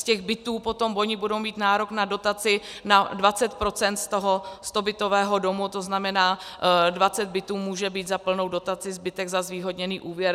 Z těch bytů potom oni budou mít nárok na dotaci na 20 % z toho stobytového domu, to znamená, 20 bytů může být za plnou dotaci, zbytek za zvýhodněný úvěr.